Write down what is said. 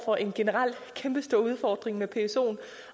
for en generel kæmpestor udfordring med psoen